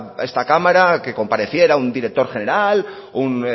a esta cámara a que compareciera un director general un